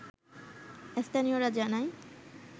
স্থানীয়রা জানায়